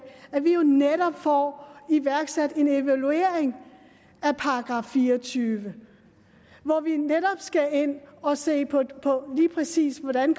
at vi jo netop får iværksat en evaluering af § fire og tyve hvor vi skal ind og se på lige præcis hvordan